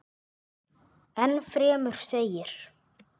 Enn fremur segir.